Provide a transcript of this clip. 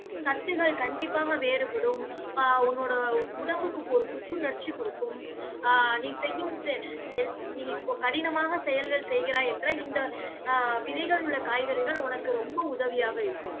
சத்துகள் கண்டிப்பாக வேறுபடும். ஆஹ் உன்னோட உடம்புக்கு ஒரு புத்துணர்ச்சி கொடுக்கும் ஆஹ் நீ செய்யும் செய்~ நீ இப்போ கடினமான செயல்கள் செய்கிறாயென்றால் இந்த ஆஹ் விதைகள் உள்ள காய்கறிகள், உனக்கு ரொம்ப உதவியாக இருக்கும்.